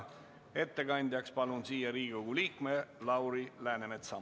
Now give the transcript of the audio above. Ettekandjaks palun siia Riigikogu liikme Lauri Läänemetsa.